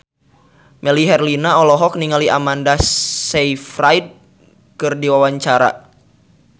Melly Herlina olohok ningali Amanda Sayfried keur diwawancara